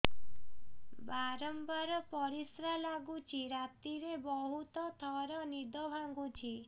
ବାରମ୍ବାର ପରିଶ୍ରା ଲାଗୁଚି ରାତିରେ ବହୁତ ଥର ନିଦ ଭାଙ୍ଗୁଛି